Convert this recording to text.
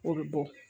O bɛ bɔ